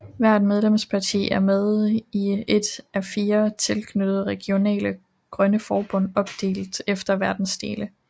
Hvert medlemsparti er med i et af fire tilknyttede regionale grønne forbund opdelt efter verdensdele